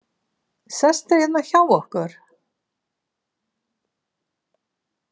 Sestu hérna hjá okkur!